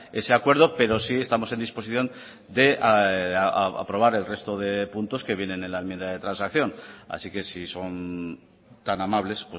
ese acuerdo pero sí estamos en disposición de aprobar el resto de puntos que vienen en la enmienda de transacción así que si son tan amables